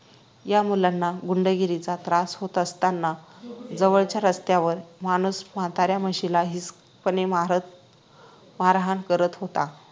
या मुलांना गुंडगिरीचा त्रास होत असताना जवळच्या रस्त्यावर एक माणूस म्हातारा म्हशीला हिंसकपणे मारत मारहाण करत होता